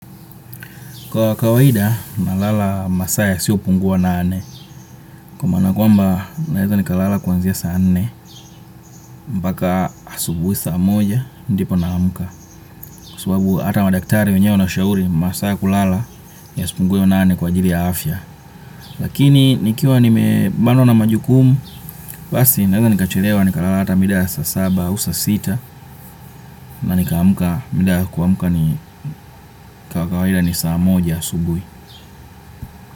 Kwa kawaida, nalala masaa yasiyopungua nane. Kwa maana kwamba, naweza nikalala kuanzia saa nne. Mpaka asubuhi saa moja, ndipo naamka. Kwa sababu, hata madaktari wenyewe wanashauri, masaa ya kulala, yasipungue nane kwa ajili ya afya. Lakini, nikiwa nimebanwa na majukumu, basi, naweza nikachelewa, nikalala hata mida saa saba, au saa sita. Na nikaamka, mida ya kuamka ni kawaida ni saa moja asubuhi.